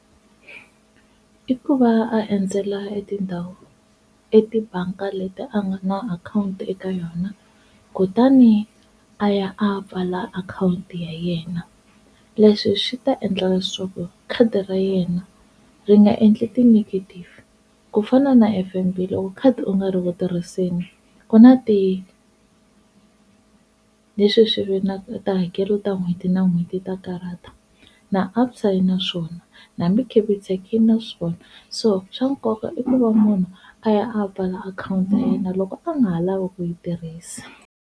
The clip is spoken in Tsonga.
I ku va a endzela etindhawu etibangi leti a nga na akhawunti eka yona kutani a ya a pfala akhawunti ya yena, leswi swi ta endla leswaku khadi ra yena ri nga endli ti-negative kufana na F_N_B loko khadi u nga ri ku tirhiseni ku na ti, leswi swilo hi tihakelo ta n'hweti na n'hweti ta karhata na ABSA yi na swona hambi Capitec yi na swona so swa nkoka i ku va munhu a ya a pfala akhawunti ya yena loko a nga ha lavi ku yi tirhisa.